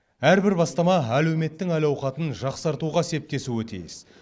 әрбір бастама әлеуметтің әл ауқатын жақсартуға септесуі тиіс